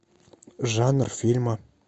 жанр фильма